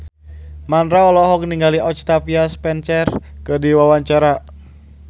Mandra olohok ningali Octavia Spencer keur diwawancara